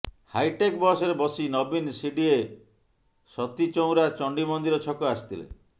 hi tech ବସରେ ବସି ନବୀନ ସିଡିଏ ସତୀଚଉରା ଚଣ୍ଡି ମନ୍ଦିର ଛକ ଆସିଥିଲେ